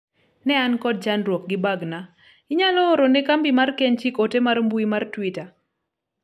ne an kod chandruok gi bagna ,inyalo orone kambi mar kenchik ote mar mbui mar twita